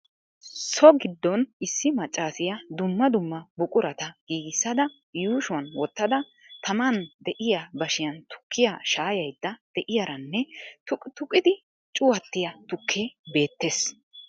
So gidoon issi maccaasiyaa dumma dumma buqurata giigissada yuushshuwaan wottada tamaan de'iya bashshiyaan tukkiya shaayayid de'iyaaranne tuqi tuqidi cuwattiya tukkee beettees.